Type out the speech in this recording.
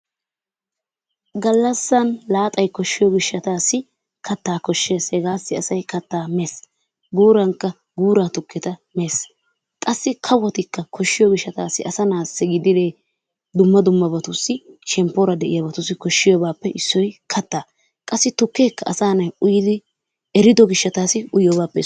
Gallassan xaalay koshshiyo gishshataassi kattaa koshshees. Hegaassi asay kattaa mees. Guurankka guuraa tukketa mees. Qassi kawotikka koshshiyo gishshataassi asa naassi gididee dumma dummaabatussi shemppoora de'iyabatussi koshshiyabaappe issoy kattaa. Qassi tukkeekka asa na'ay uyidi erido gishshataassi uyiyogaappe issuwa.